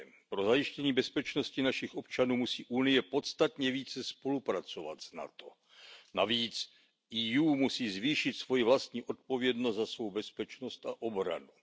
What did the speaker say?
Pro zajištění bezpečnosti našich občanů musí Unie podstatně více spolupracovat s NATO. Navíc EU musí zvýšit svoji vlastní odpovědnost za svou bezpečnost a obranu.